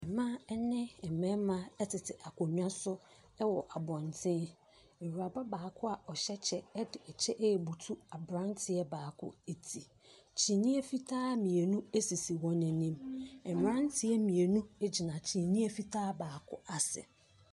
Mmaa ne mmarima tete akonnwa so wɔ abɔntene. Awuraba baako a ɔhyɛ kyɛ de kyɛ rebutu aberanteɛ baako ti. Kyiniiɛ fitaa mmienu sisi wɔn anim. Mmeranteɛ mmienu gyina kyiniiɛ fitaa baako ase.